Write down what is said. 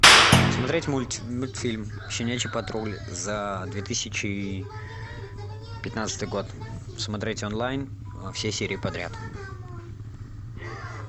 смотреть мультфильм щенячий патруль за две тысячи пятнадцатый год смотреть онлайн все серии подряд